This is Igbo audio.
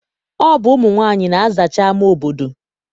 Ọ bụ ụmụ nwaanyị na-azacha ama obodo.